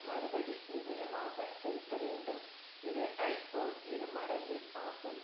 மறுபடி நிதியமாக செலுத்த வேண்டும் இது ஐப் போல் இரு மடங்கு ஆகும்